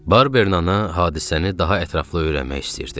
Barbernana hadisəni daha ətraflı öyrənmək istəyirdi.